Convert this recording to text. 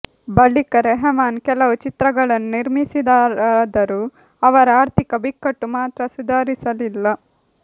ಬಳಿಕ ರೆಹಮಾನ್ ಕೆಲವು ಚಿತ್ರಗಳನ್ನು ನಿರ್ಮಿಸಿದರಾದರೂ ಅವರ ಆರ್ಥಿಕ ಬಿಕ್ಕಟ್ಟು ಮಾತ್ರ ಸುಧಾರಿಸಲಿಲ್ಲ